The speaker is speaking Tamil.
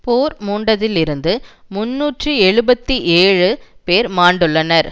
போர் மூண்டதிலிருந்து முன்னூற்றி எழுபத்தி ஏழு பேர் மாண்டுள்ளனர்